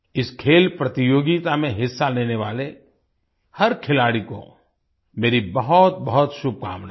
इस खेल प्रतियोगिता में हिस्सा लेने वाले हर खिलाड़ी को मेरी बहुतबहुत शुभकामनाएं